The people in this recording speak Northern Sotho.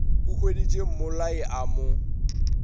a hweditše mmolai a mo